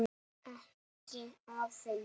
Ekki afi minn.